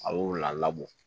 A y'o labɔ